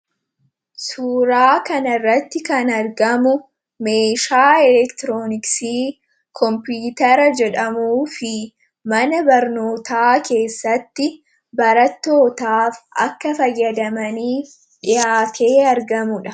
Suuraa kanarratti kan argamu, meeshaa elektirooniksii Kompiitara jedhamuu fi mana barnootaa keessatti barattootaaf akka fayyadamaniif dhiyaatee argamudha.